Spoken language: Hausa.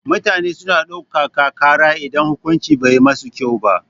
Mutane suna ɗauka ka kara idan hukuncin bai musu ba